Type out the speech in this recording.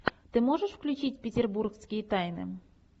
ты можешь включить петербургские тайны